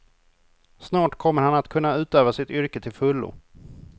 Snart kommer han att kunna utöva sitt yrke till fullo.